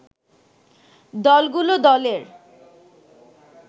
দলগুলো দলের